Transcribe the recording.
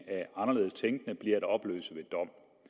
af anderledes tænkende bliver at opløse ved dom